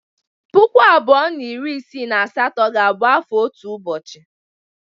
Puku abụọ na iri isii na asatọ ga-abụ afọ otu ụbọchị.